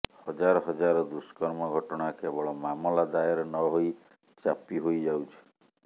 ହଜାର ହଜାର ଦୁଷ୍କର୍ମ ଘଟଣା କେବଳ ମାମଲା ଦାୟର ନହୋଇ ଚାପି ହୋଇଯାଉଛି